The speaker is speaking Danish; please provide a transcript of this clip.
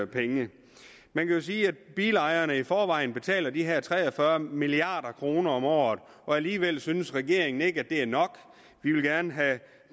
penge man kan jo sige at bilejerne i forvejen betaler de her tre og fyrre milliard kroner om året og alligevel synes regeringen ikke at det er nok de vil gerne have